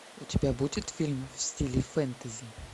у тебя будет фильм в стиле фэнтези